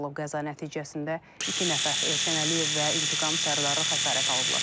Qəza nəticəsində iki nəfər Elşən Əliyev və İntiqam Sərdarlıq xəsarət alıblar.